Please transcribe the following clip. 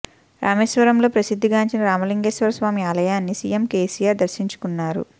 రామేశ్వరంలో ప్రసిద్ధి గాంచిన రామలింగేశ్వర స్వామి ఆలయాన్ని సీఎం కేసీఆర్ దర్శించుకున్నారు